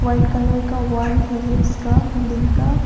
White colour का wall है ये इसका बिल्डिंग का।